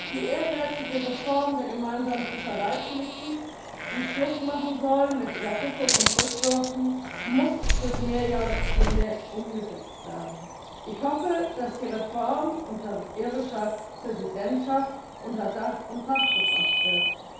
Die ehrgeizige Reform der gemeinsamen Fischereipolitik, die Schluss machen soll mit Überfischung und Rückwürfen, muss durch Mehrjahrespläne umgesetzt werden. Ich hoffe, dass die Reform unter irischer Präsidentschaft unter Dach und Fach gebracht wird.